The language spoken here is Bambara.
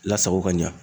Lasago ka ɲa